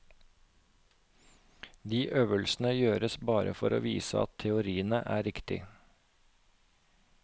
De øvelsene gjøres bare for å vise at teoriene er riktige.